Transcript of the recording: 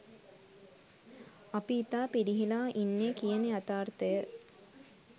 අපි ඉතා පිරිහිලා ඉන්නේ කියන යථාර්ථය